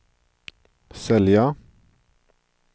sälja